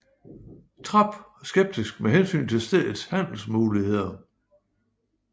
Trap skeptisk med hensyn til stedets handelsmuligheder